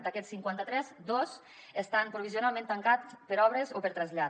d’aquests cinquanta tres dos estan provisionalment tancats per obres o per trasllat